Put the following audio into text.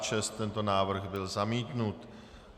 Tento návrh byl zamítnut.